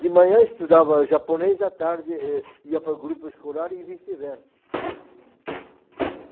De manhã estudava japonês, à tarde eh ia para o grupo escolar e vice-versa.